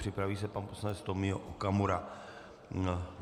Připraví se pan poslanec Tomio Okamura.